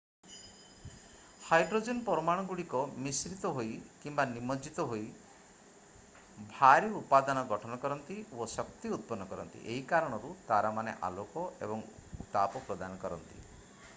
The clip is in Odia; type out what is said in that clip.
ହାଇଡ୍ରୋଜେନ୍ ପରମାଣୁଗୁଡ଼ିକ ମିଶ୍ରିତ ହୋଇ କିମ୍ବା ନିମଜ୍ଜିତ ହୋଇ ହୋଇ ଭାରୀ ଉପାଦାନ ଗଠନ କରନ୍ତି ଓ ଶକ୍ତି ଉତ୍ପନ୍ନ କରନ୍ତି ଏହି କାରଣରୁ ତାରାମାନେ ଆଲୋକ ଏବଂ ଉତ୍ତାପ ପ୍ରଦାନ କରନ୍ତି ।